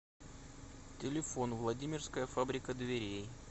телефон владимирская фабрика дверей